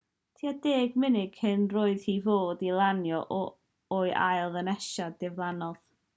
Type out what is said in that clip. tua deng munud cyn roedd hi i fod i lanio o'i ail ddynesiad diflannodd